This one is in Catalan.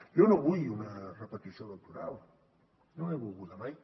jo no vull una repetició electoral no l’he volguda mai